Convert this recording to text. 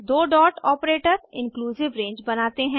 दो dot operator inclusive range बनाते हैं